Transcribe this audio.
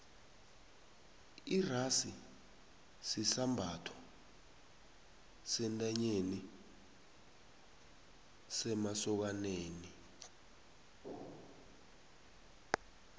irasi sisambatho sentanyeni semasokani